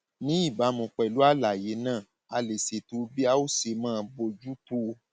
ní ìbámu pẹlú àlàyé náà a lè ṣètò bí a ó ṣe máa bójú tó o